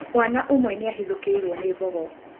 Mwaana ũmwe nĩ ahithũkĩirũo nĩ mbogo.